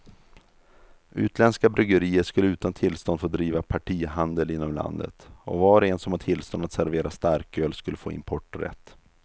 Utländska bryggerier skulle utan tillstånd få driva partihandel inom landet, och var och en som har tillstånd att servera starköl skulle få importrätt.